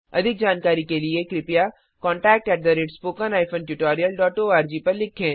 अधिक जानकारी के लिए कृपया contact at spoken hyphen tutorial dot org पर लिखें